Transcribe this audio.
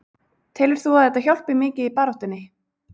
Telur þú að þetta hjálpi mikið í baráttunni?